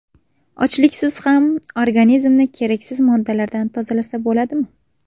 Ochliksiz ham organizmni keraksiz moddalardan tozalasa bo‘ladimi?.